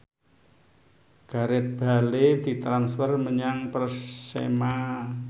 Gareth Bale ditransfer menyang Persema